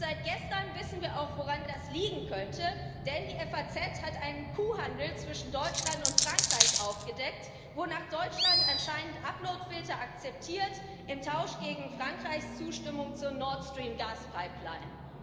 Und seit gestern wissen wir auch, woran das liegen könnte, denn die FAZ hat einen Kuhhandel zwischen Deutschland und Frankreich aufgedeckt, wonach Deutschland anscheinend Uploadfilter akzeptiert im Tausch gegen Frankreichs Zustimmung zur Nord Stream Gaspipeline.